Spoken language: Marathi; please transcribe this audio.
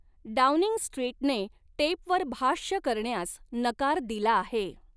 डाऊनिंग स्ट्रीटने टेपवर भाष्य करण्यास नकार दिला आहे.